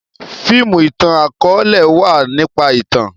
fíìmù itan-akọọlẹ wá nípa ìtàn.